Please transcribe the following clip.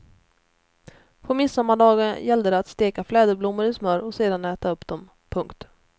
På midsommardagen gällde det att steka fläderblommor i smör och sedan äta upp dem. punkt